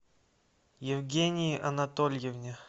евгении анатольевне